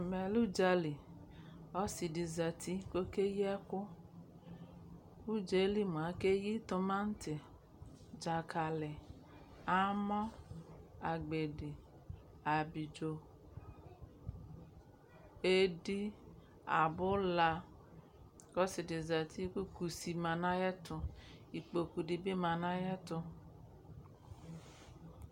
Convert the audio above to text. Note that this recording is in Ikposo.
ɛmɛlɛ ʋɖƶali ɔsiɖiƶati kɔkeyiɛkʋ ʋɖƶelimʋa akɛyi tɔmati ɖƶakali amɔ agbedi abiɖƶo ɛɖii abʋla kɔsiɖi ƶati kʋ kʋsima nayɛtʋ ekpoɖʋɖibi manayɛtʋ